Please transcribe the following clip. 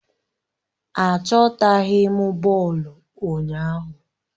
Achọtaghi m bọọlụ ụnyaahụ